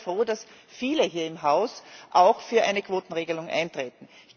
Ich bin sehr froh, dass viele hier im Haus auch für eine Quotenregelung eintreten.